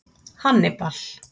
Hannibal